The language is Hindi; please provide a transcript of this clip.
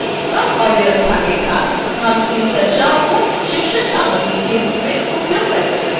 कम अव्यवस्था के साथ हम इन चर्चाओं को शिक्षण सामग्री के रूप में उपयोग कर सकते हैं